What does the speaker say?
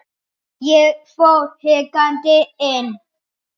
Ég fór hikandi inn.